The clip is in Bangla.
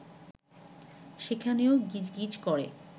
সেখানেও গিজ গিজ করে